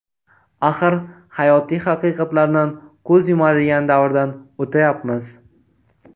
Axir hayotiy haqiqatlardan ko‘z yumadigan davrdan o‘tayapmiz.